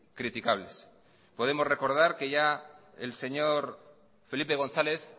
criticables podemos recordar que ya el señor felipe gonzáles